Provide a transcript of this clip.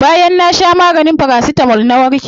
Bayan na sha maganin paracetamol na warke.